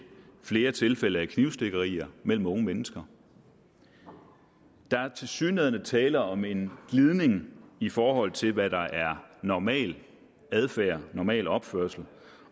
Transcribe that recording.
flere tilfælde af knivstikkerier mellem unge mennesker der er tilsyneladende tale om en glidning i forhold til hvad der er normal adfærd normal opførsel